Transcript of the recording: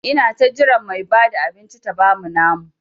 Ina ta jiran Mai Bada abinci ta bamu namu.